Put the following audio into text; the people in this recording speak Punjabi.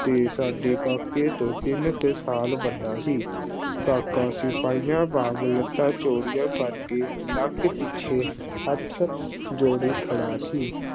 ਤੇ ਸਾਡੇ ਕਾਕੇ ਤੋਂ ਤਿੰਨ ਕੁ ਸਾਲ ਵੱਡਾ ਸੀ ਕਾਕਾ ਸਿਪਾਹੀਆਂ ਵਾਂਗ ਲੱਤਾਂ ਚੌੜੀਆਂ ਕਰਕੇ ਲੱਕ ਪਿੱਛੇ ਹੱਥ ਜੋੜੀ ਖੜਾ ਸੀ।